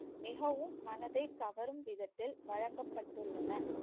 மிகவும் மனதை கவரும் விதத்தில் வழங்கப்பட்டுள்ளன